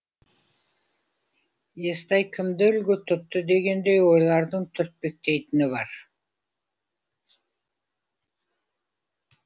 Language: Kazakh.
естай кімді үлгі тұтты дегендей ойлардың түртпектейтіні бар